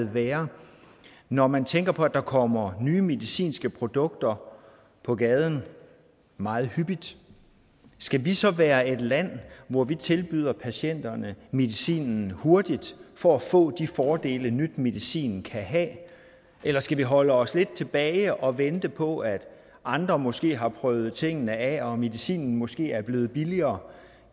være når man tænker på at der kommer nye medicinske produkter på gaden meget hyppigt skal vi så være et land hvor vi tilbyder patienterne medicinen hurtigt for at få de fordele ny medicin kan have eller skal vi holde os lidt tilbage og vente på at andre måske har prøvet tingene af og medicinen måske er blevet billigere